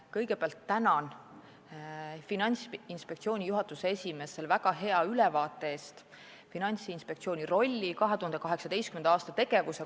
Kõigepealt tänan Finantsinspektsiooni juhatuse esimeest selle väga hea ülevaate eest, mis tutvustas Finantsinspektsiooni rolli ja 2018. aasta tegevust.